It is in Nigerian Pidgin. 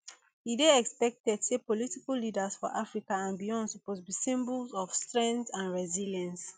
e dey expected say political leaders for africa and beyond suppose be symbols of strength and resilience